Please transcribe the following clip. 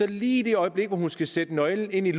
lige i det øjeblik hun skal sætte nøglen i